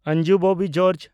Anju Bobby George